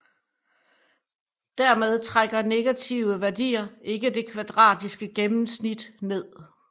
Dermed trækker negative værdier ikke det kvadratiske gennemsnittet ned